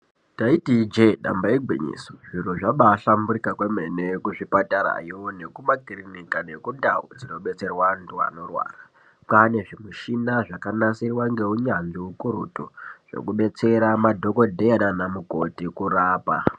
Taiti ijee damba igwinyiso zviro zvabaa hlamburika kwemene kuzvipatarayo, nekumakirinika nekundau dzinobetserwa andu anorwara k, wane zvimushina zvakanasirwa ngeunyanzvi ukurutu zvekubetsera madhokodheya nana mukokhoti kurapa.